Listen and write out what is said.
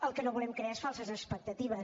el que no volem crear és falses expectatives